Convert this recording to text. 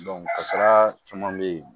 kasira caman be yen